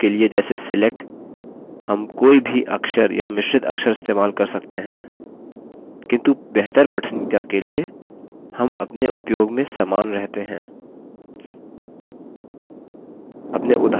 sql keywords के लिए जैसे select हम कोई भी अक्षर या मिश्रित अक्षर इस्तेमाल कर सकते हैं किन्तु बेहतर पठनीयता के लिए हम अपने उपयोग में समान रहते हैं